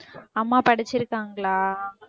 அம்மா படிச்சிருக்காங்களா?